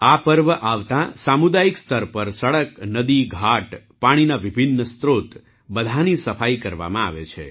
આ પર્વ આવતાંસામુદાયિક સ્તર પર સડક નદી ઘાટ પાણીના વિભિન્ન સ્ત્રોત બધાંની સફાઈ કરવામાં આવે છે